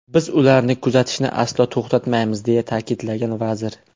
Biz ularni kuzatishni aslo to‘xtatmaymiz”, deya ta’kidlagan vazir.